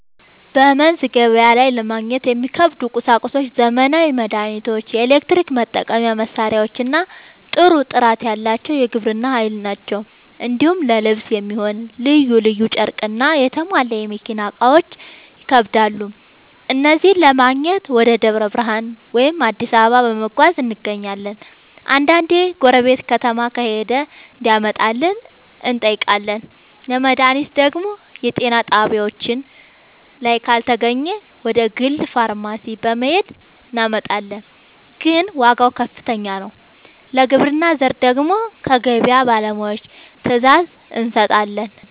በመንዝ ገበያ ላይ ለማግኘት የሚከብዱ ቁሳቁሶች ዘመናዊ መድሃኒቶች፣ የኤሌክትሪክ መጠቀሚያ መሳሪያዎችና ጥሩ ጥራት ያለው የግብርና ᛢል ናቸው። እንዲሁም ለልብስ የሚሆን ልዩ ልዩ ጨርቅና የተሟላ የመኪና እቃዎች ይከብዳሉ። እነዚህን ለማግኘት ወደ ደብረ ብርሃን ወይም አዲስ አበባ በመጓዝ እናገኛለን፤ አንዳንዴ ጎረቤት ከተማ ከሄደ እንዲያመጣልን እንጠይቃለን። ለመድሃኒት ደግሞ የጤና ጣቢያችን ላይ ካልተገኘ ወደ ግል ፋርማሲ በመሄድ እናመጣለን፤ ግን ዋጋው ከፍተኛ ነው። ለግብርና ዘር ደግሞ ከገበያ ባለሙያዎች ትዕዛዝ እንሰጣለን።